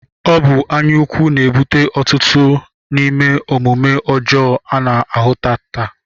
Ọ bụ anya ukwu na-ebute ọtụtụ n'ime omume ọjọọ a na-ahụta taa